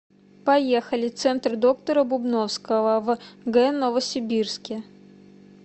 поехали центр доктора бубновского в г новосибирске